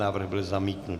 Návrh byl zamítnut.